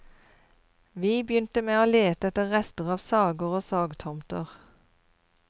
Vi begynte med å lete etter rester av sager og sagtomter.